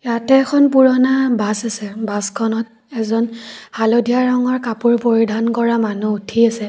ইয়াতে এখন পুৰণা বাছ আছে বাছখনত এজন হালধীয়া ৰঙৰ কাপোৰ পৰিধান কৰা মানুহ উঠি আছে।